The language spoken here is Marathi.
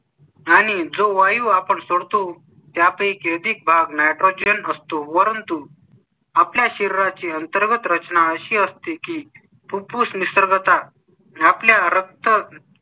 आणि जो वायू आपण सोडतो त्या पैकी. आणि जो वायू आपण सोडतो त्या पैकीच एक भाग nitrogen असतो. वरून तु आपल्या शरीरा ची अंतर्गत रचना अशी असते की पुरुष निसर्ग आता आपल्या रक्त